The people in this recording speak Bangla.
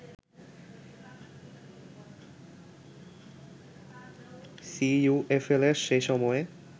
সিইউএফএল’র সে সময়ে